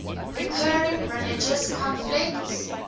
recurring religious conflicts